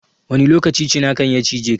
Wani lokaci cinakan ya cijeka?